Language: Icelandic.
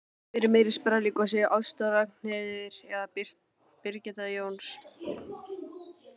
Hver er meiri sprelligosi, Ásta Ragnheiður eða Birgitta Jóns?